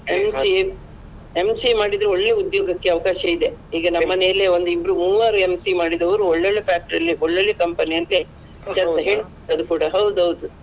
MCA ಮಾಡಿದ್ರೆ ಒಳ್ಳೆ ಉದ್ಯೋಗಕ್ಕೆ ಅವಕಾಶ ಇದೆ ಈಗ ನಮ್ಮ ಮನೆಯಲ್ಲಿಯೇ ಒಂದಿಬ್ರು ಮೂವರು MCA ಮಾಡಿದವ್ರು ಒಳ್ಳೆ ಒಳ್ಳೆ factory ಒಳ್ಳೆ ಒಳ್ಳೆ company ಅಲ್ಲಿ ಕೆಲ್ಸಗೆ ಅದು ಕೂಡ ಹೌದು ಹೌದು.